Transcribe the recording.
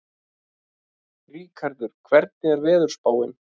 Ríkharð, hvernig er veðurspáin?